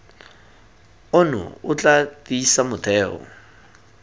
ono o tla tiisa motheo